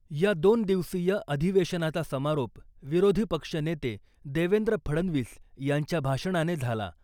या दोन दिवसीय अधिवेशनाचा समारोप विरोधी पक्षनेते देवेंद्र फडनवीस यांच्या भाषणाने झाला .